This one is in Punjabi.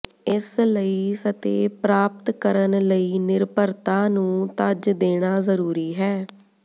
ਇਸ ਲਈ ਸਤਿ ਪ੍ਰਾਪਤ ਕਰਨ ਲਈ ਨਿਰਭਰਤਾ ਨੂੰ ਤਜ ਦੇਣਾ ਜ਼ਰੂਰੀ ਹੈ